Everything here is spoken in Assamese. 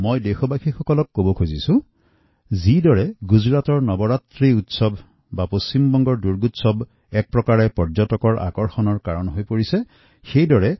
মই দেশবাসীক কওঁ যে গুজৰাটত যেনেকৈ নৱৰাত্ৰি উৎসৱ বা পশ্চিমবংগৰ দুৰ্গোৎসৱসেই দৰেই আজি পৰ্যটনৰ মূল আকৰ্ষণ হৈ উঠিছেএই অনাম